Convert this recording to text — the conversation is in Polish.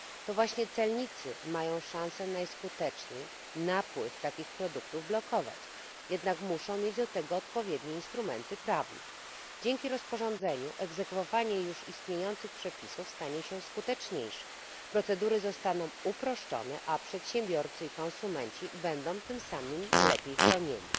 To właśnie celnicy maja szanse najskuteczniej napływ takich produktów blokować, jednak musza mieć do tego odpowiednie instrumenty prawne. Dzięki rozporządzeniu egzekwowanie już istniejących przepisów stanie się skuteczniejsze, procedury zostaną uproszczone, a przedsiębiorcy i konsumenci będą tym samym lepiej chronieni.